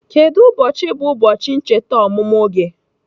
Kedu ụbọchị bụ ụbọchị ncheta ọmụmụ gị?